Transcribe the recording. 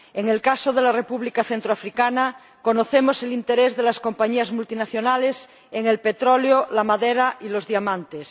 En el caso de la República Centroafricana, conocemos el interés de las compañías multinacionales por el petróleo, la madera y los diamantes.